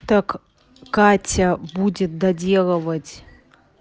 так катя будет доделывать